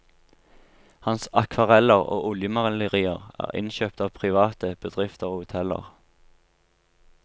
Hans akvareller og oljemalerier er innkjøpt av private, bedrifter og hoteller.